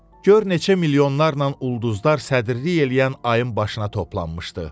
Gör neçə milyonlarla ulduzlar sədrlik eləyən ayın başına toplanmışdı.